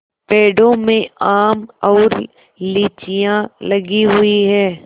पेड़ों में आम और लीचियाँ लगी हुई हैं